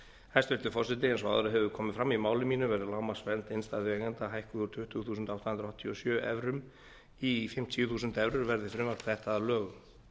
hæstvirtur forseti eins og áður hefur komið fram í máli mínu verður lágmarksvernd innstæðueigenda hækkuð úr tuttugu þúsund átta hundruð áttatíu og sjö evrum í fimmtíu þúsund evrur verði frumvarp þetta að lögum